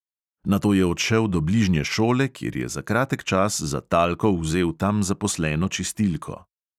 Nato je odšel do bližnje šole, kjer je za kratek čas za talko vzel tam zaposleno čistilko.